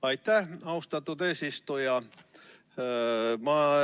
Aitäh, austatud eesistuja!